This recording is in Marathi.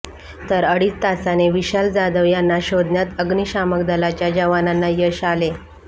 तर अडीच तासाने विशाल जाधव यांना शोधण्यात अग्निशामक दलाच्या जवानांना यश आले